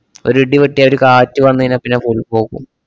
ഒരിടിവെട്ടിയാ ഒരു കാറ്റു വന്നയിഞ്ഞാ പിന്നെ full പോകും.